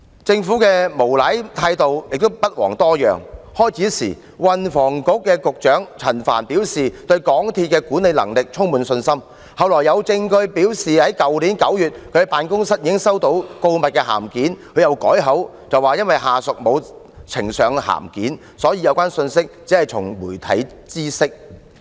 政府的無賴態度也不遑多讓，運輸及房屋局局長陳帆最初表示對港鐵公司的管理能力充滿信心，後來有證據顯示其辦公室在去年9月已經收到告密函件，他又改口說因為下屬沒有呈上函件，所以只從媒體知悉有關信息。